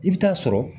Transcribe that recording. I bɛ taa sɔrɔ